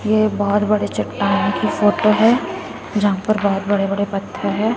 ये बहोत बड़े चट्टान की फोटो है जहाँ पर बहोत बड़े-बड़े पत्थर है।